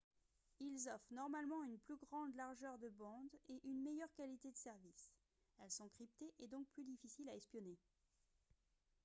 ils offrent normalement une plus grande largeur de bande et une meilleure qualité de service elles sont cryptées et donc plus difficiles à espionner